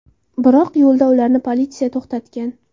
Biroq yo‘lda ularni politsiya to‘xtatgan.